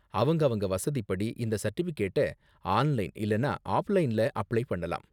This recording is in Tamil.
அவங்கவங்க வசதிப்படி, இந்த சர்டிபிகேட்ட ஆன்லைன் இல்லனா ஆஃப்லைன்ல அப்ளை பண்ணலாம்.